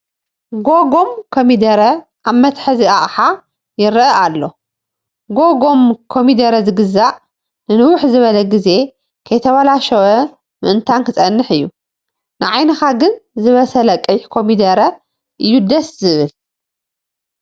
ጐገም ኮሚደረ ኣብ መትሓዚ ኣቕሓ ይርአ ኣሎ፡፡ ጐገም ኮምዲረ ዝግዛእ ንንውሕ ዝበለ ግዜ ከይተበላሸው ምእንታን ክፀንሕ እዩ፡፡ ንዓይንኻ ግን ዝበሰለ ቀይሕ ኮሚደረ እዩ ደስ ዝብል፡፡